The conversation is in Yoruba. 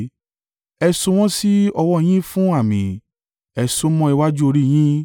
Ẹ so wọ́n sí ọwọ́ yín fún àmì, ẹ so ó mọ́ iwájú orí yín.